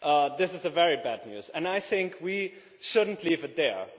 This is very bad news, and I think we should not leave it there.